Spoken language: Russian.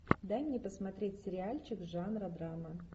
дай мне посмотреть сериальчик жанра драма